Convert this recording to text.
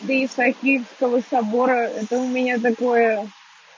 до исаакиевского собора это у меня такое